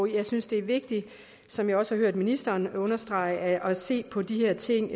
jeg synes det er vigtigt som jeg også har hørt ministeren understrege at se på de her ting